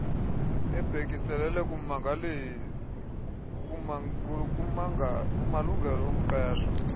ebhekiselele kumalungelo omqeshwa